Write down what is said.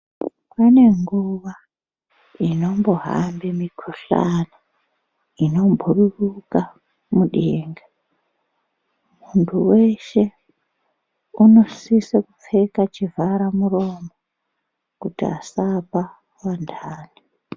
Pane nguwa inombohambe mikhuhlani inobhururuka mudenga. Munhu weshe unosisa kupfeka chivhara muromo kuti asapa vanhani.